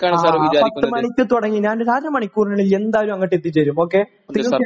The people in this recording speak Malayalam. ആ. പത്ത് മണിക്ക് തുടങ്ങ് ...ഞാൻ ഒരു അര മണിക്കൂറിനുള്ളിൽ എന്തായാലും അങ്ങോട്ട് എത്തിച്ചേരും. ഓക്കെ? തീർച്ചയായും..ഞാൻ എത്തിച്ചേരും.